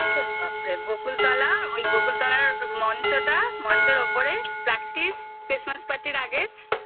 আরে বাপ রে বকুলতলা ওই বকুলতলার মঞ্চটা মঞ্চের ওপরে practice christmas party র আগে